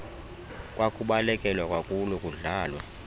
kwakubalekelwa kwakulo kudlalwa